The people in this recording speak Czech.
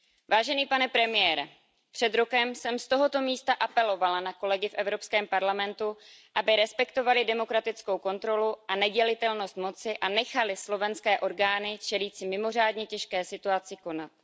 Vážený pane premiére, před rokem jsem z tohoto místa apelovala na kolegy v Evropském parlamentu, aby respektovali demokratickou kontrolu a nedělitelnost moci a nechali slovenské orgány čelící mimořádně těžké situaci konat.